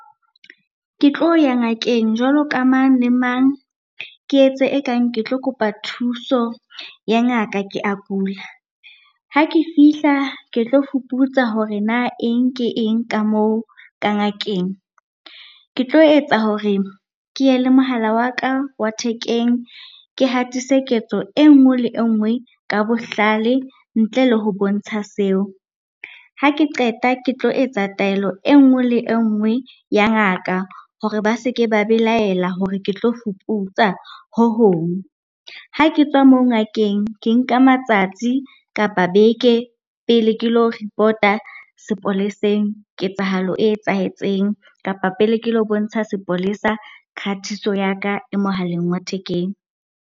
Ke tlo ya ngakeng jwalo ka mang le mang. Ke etse ekang ke tlo kopa thuso ya ngaka, ke a kula. Ha ke fihla ke tlo fuputsa hore na eng ke eng? ka moo ka ngakeng. Ke tlo etsa hore ke ye le mohala wa ka wa thekeng, ke hatise ketso e nngwe le engwe ka bohlale ntle le ho bontsha seo. Ha ke qeta ke tlo etsa taelo e nngwe le engwe ya ngaka hore ba seke ba belaela hore ke tlo fuputsa ho hong. Ha ke tswa mo ngakeng ke nka matsatsi kapa beke pele ke lo report-a sepoleseng ketsahalo e etsahetseng kapa pele ke lo bontsha sepolesa khatiso ya ka e mohaleng wa thekeng.